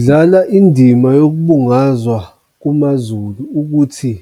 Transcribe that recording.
Adlala indima yokubungazwa kumaZulu ukuthi